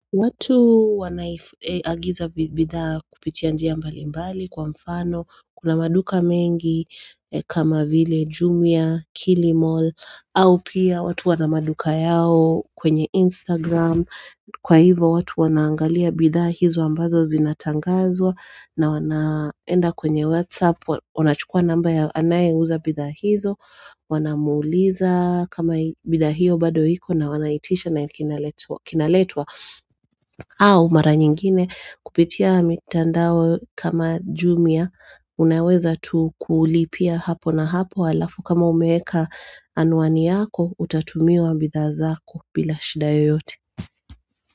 Watu wanaagiza bidhaa kupitia njia mbali mbali kwa mfano, kuna maduka mengi kama vile Jumia, Kilimall, au pia watu wana maduka yao kwenye Instagram, kwa hivo watu wanaangalia bidhaa hizo ambazo zinatangazwa na wanaenda kwenye WhatsApp, wanachukua namba ya anaye uza bidhaa hizo, wanamuuliza kama bidhaa hiyo bado hiko na wanaitisha na kinaletwa. Au mara nyingine kupitia mitandao kama jumia unaweza tu kuulipia hapo na hapo alafu kama umeeka anuani yako utatumiwa bidha zako bila shidae yote.